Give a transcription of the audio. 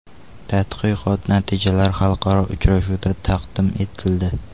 Tadqiqot natijalari xalqaro uchrashuvda taqdim etildi.